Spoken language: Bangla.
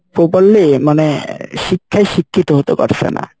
properly মানে শিক্ষাই শিক্ষিত হতে পারসে না।